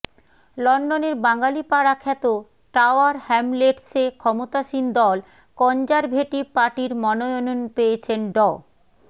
লন্ডনের বাঙ্গালীপাড়া খ্যাত টাওয়ার হ্যামলেটসে ক্ষমতাসীন দল কনজারভেটিভ পার্টির মনোনয়ন পেয়েছেন ড